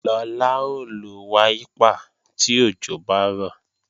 Lọlá ó lo wáípà tí òjò bá rọ̀